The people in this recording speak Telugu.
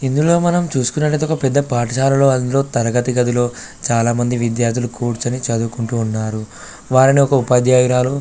ఇందులో మనం చూసుకునట్టు ఐతే ఒక పెద్ద పాఠశాలలో అందులో తరగతి గదిలో చాల మంది విద్యార్థులు కూచొని చదువుకుంటున్నారు వారిని ఒక ఉపాధ్యాయురాలు --